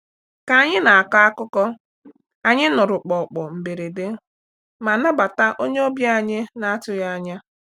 Ka anyị na-akọ akụkọ, anyị nụrụ kpọkpọ mberede ma nabata onye ọbịa anyị na-atụghị anya.